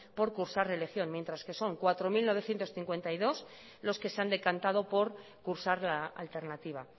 por cursar religión mientras que son cuatro mil novecientos cincuenta y dos los que se han decantado por cursar la alternativa